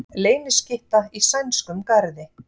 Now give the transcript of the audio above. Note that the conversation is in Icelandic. Leyniskytta í sænskum garði